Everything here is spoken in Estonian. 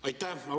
Aitäh!